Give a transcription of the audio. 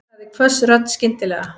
sagði hvöss rödd skyndilega.